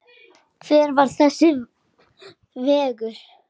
Hvar er þessi vegur?